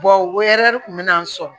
kun bɛ n sɔrɔ